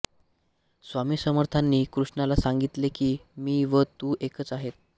स्वामी समर्थांनी कृष्णाला सांगितले की मी व तू एकच आहोत